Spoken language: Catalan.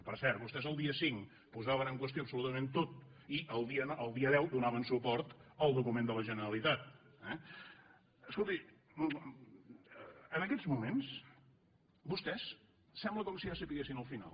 per cert vostès el dia cinc ho posaven en qüestió absolutament tot i el dia deu donaven suport al document de la generalitat eh escolti en aquests moments vostès sembla com si ja sabessin el final